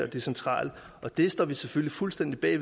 det centrale og det står vi selvfølgelig fuldstændig bag